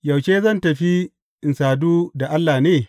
Yaushe zan tafi in sadu da Allah ne?